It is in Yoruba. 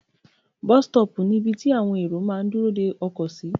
Bus stop ni ibi tí àwọn èrò máà ń dúró de ọkọ̀ sí.